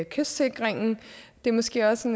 kystsikringen det er måske også